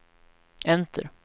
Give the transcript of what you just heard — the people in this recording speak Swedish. enter